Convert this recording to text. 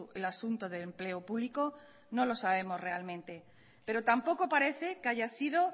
el asunto de empleo público no lo sabemos realmente pero tampoco parece que haya sido